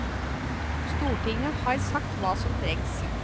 Stortinget har sagt hva som trengs.